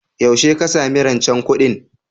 Yaushe ka sami rancen kuɗin?